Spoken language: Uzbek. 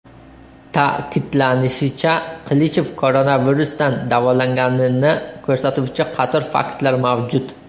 Ta’kidlanishicha, Qilichev koronavirusdan davolanganini ko‘rsatuvchi qator faktlar mavjud.